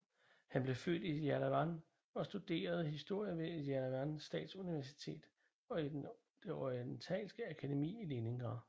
Han blev født i Jerevan og studerede historie ved Jerevan Statsuniversitet og det Orientalske Akademi i Leningrad